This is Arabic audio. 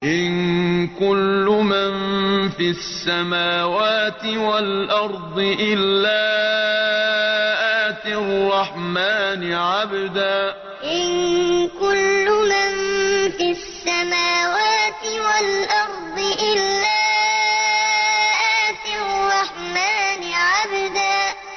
إِن كُلُّ مَن فِي السَّمَاوَاتِ وَالْأَرْضِ إِلَّا آتِي الرَّحْمَٰنِ عَبْدًا إِن كُلُّ مَن فِي السَّمَاوَاتِ وَالْأَرْضِ إِلَّا آتِي الرَّحْمَٰنِ عَبْدًا